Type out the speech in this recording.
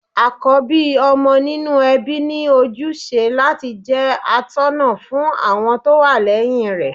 Àkọ́bí ọmọ nínú ẹbí ni óní ojúṣe láti jẹ́ atọ́ná fún àwọn tó wà lẹ́yìn rẹ̀.